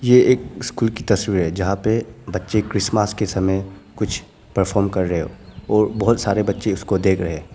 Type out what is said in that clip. ये एक स्कूल की तस्वीर है जहां पे बच्चे क्रिसमस के समय कुछ परफॉर्म कर रहे हो और बहुत सारे बच्चे उसको देख रहे हैं।